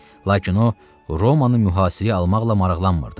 Lakin o Romanı mühasirəyə almaqla maraqlanmırdı.